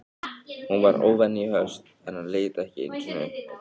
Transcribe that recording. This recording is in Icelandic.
Hún var óvenju höst en hann leit ekki einu sinni upp.